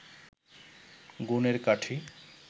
গুণের কাঠি